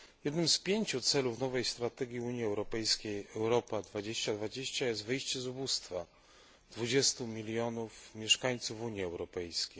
Jednym z pięciu celów nowej strategii Unii Europejskiej Europa 2020 jest wyjście z ubóstwa 20 mln mieszkańców Unii Europejskiej.